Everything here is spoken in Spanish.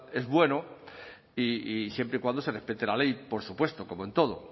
es bueno y siempre cuando se respete la ley por supuesto como en todo